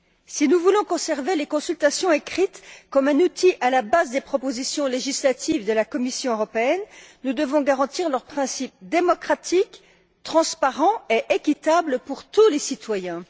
Si nous voulons conserver les consultations écrites comme un outil à la base des propositions législatives de la Commission européenne, nous devons garantir leur principe démocratique transparent et équitable pour tous les citoyens.